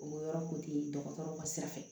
O yɔrɔ ko te dɔgɔtɔrɔ ka sira fɛ